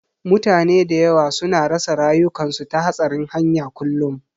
Mutane da yawa su na rasa rayukansu ta hatsarin hanya kullum